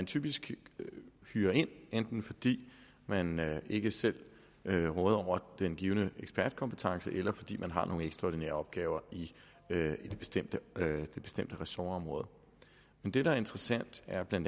typisk enten fordi man man ikke selv råder over den givne ekspertkompetence eller fordi man har nogle ekstraordinære opgaver i det bestemte ressortområde det der er interessant er bla